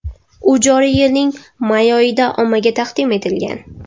U joriy yilning may oyida ommaga taqdim etilgan.